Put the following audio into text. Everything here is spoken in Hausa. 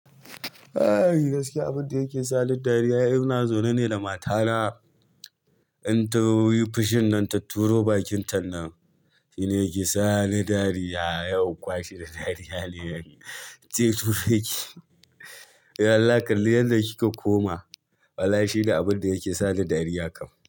Eh gaskiya abun da yake sa ni dariya in ina zaune ne da matana. In ta yi fushin nan ta turo bakinta nan shine yake sa ni dariya. Sai in kwashe da dariya ni dai ince dube ki. Allah kalli yadda kika koma wallahi shi ne abun da yake sa ni dariya kam.